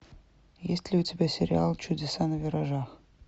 есть ли у тебя сериал чудеса на виражах